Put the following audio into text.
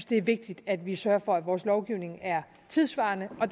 det er vigtigt at vi sørger for at vores lovgivning er tidssvarende og